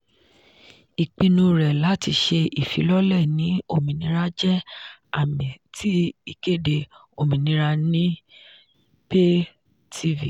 ìpinnu rẹ láti ṣé ìfilọ̀lẹ́ ní òmìnira jẹ́ àmì ti ìkéde "òmìnira"ni pay-tv.